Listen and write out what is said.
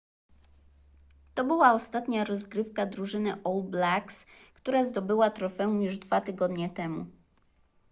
to była ostatnia rozgrywka drużyny all blacks która zdobyła trofeum już dwa tygodnie temu